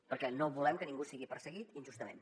perquè no volem que ningú sigui perseguit injustament